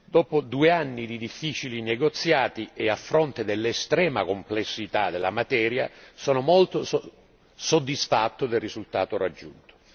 Dopo due anni di difficili negoziati e a fronte dell'estrema complessità della materia, sono molto soddisfatto del risultato raggiunto.